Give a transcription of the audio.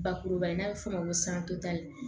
Bakuruba n'a bɛ f'o ma ko